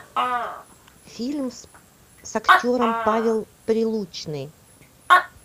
фильм с актером павел прилучный